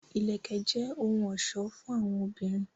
Ìlẹ̀kẹ̀ jẹ́ òhun ọ̀ṣọ́ fún àwọn obìnrin